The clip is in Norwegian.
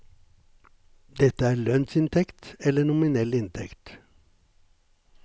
Dette er lønnsinntekt eller nominell inntekt.